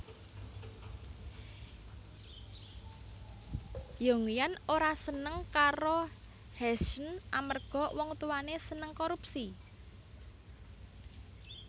Yongyan ora seneng karo Heshen amarga wong tuwane seneng korupsi